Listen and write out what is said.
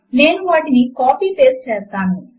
నేను వాటిని కాపీ చేసి పేస్ట్ చేస్తాను